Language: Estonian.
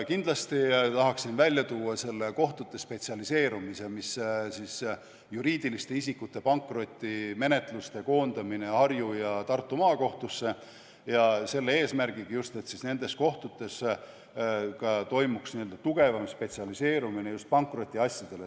Kindlasti tahaksin esile tuua selle kohtute spetsialiseerumise, mis on juriidiliste isikute pankrotimenetluste koondamine Harju ja Tartu maakohtusse, selle eesmärgiga, et nendes kohtutes toimuks tugevam spetsialiseerumine just pankrotiasjadele.